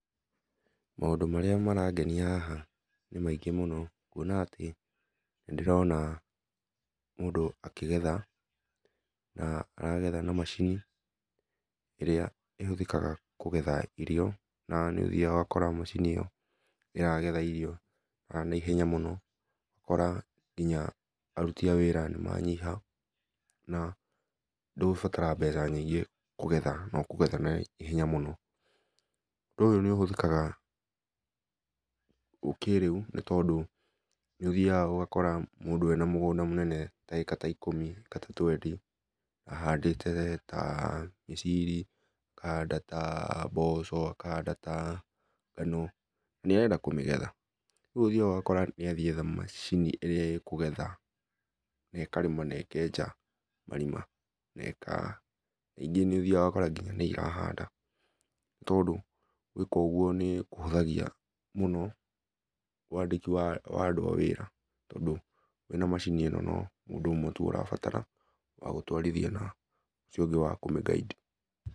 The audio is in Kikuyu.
Maũndũ marĩa marangenia haha, nĩ maingĩ mũno kũona atĩ nĩ ndĩrona mũndũ akĩgetha na aragetha na macini ĩrĩa ĩhũthĩkaga kũgetha irĩo na nĩ ũthĩa ũgakora macini ĩyo nĩ ĩragetha na ihenya mũno ũgakora nginya arũtĩ a wĩra nĩ manyiha na ndũgũbatara mbeca nyingĩ kũgetha noũkũgetha na ihenya mũno, ũndũ ũyũ nĩ ũhĩthĩkaga kĩrĩũ nĩ ũthĩaga ũgakora mũndũ ena mũgũnda mũnene ena ĩka ta ikũmĩ ĩka ta twendi ahandĩte ta mĩciri, akahanda ta mboco, akahanda ta ngano, na nĩ arenda kũmĩgetha rĩũ nĩ ũthĩaga ũgakora nĩ etha macini ĩrĩa ĩkũgetha na ĩ karĩma na ĩkeja marĩma na ĩka rĩngĩ nĩ ũthĩaga ũgakora nĩ ĩrahanda tondũ gwĩka ũguo nĩkũhũthagĩa mũno wandĩki wa andũ a wĩra wĩna na macini ĩno no mũndũ ũmwe tũ ũrabatara wagũtwarĩthia na ũcio ũngĩ wa kũmĩ guide.